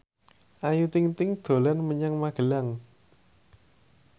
Ayu Ting ting dolan menyang Magelang